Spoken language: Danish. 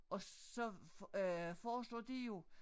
Og så øh foreslår de jo